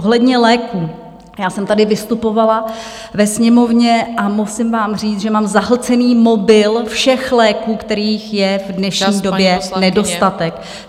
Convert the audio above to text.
Ohledně léků - já jsem tady vystupovala ve Sněmovně a musím vám říct, že mám zahlcený mobil všech léků, kterých je v dnešní době nedostatek.